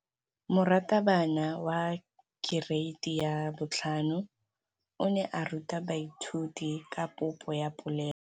Moratabana wa kereiti ya 5 o ne a ruta baithuti ka popô ya polelô.